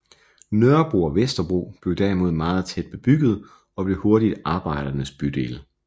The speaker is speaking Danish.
Nørrebro og Vesterbro blev derimod meget tæt bebygget og blev hurtigt arbejdernes bydele